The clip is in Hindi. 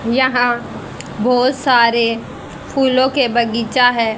यहां बहोत सारे फूलों के बगीचा है।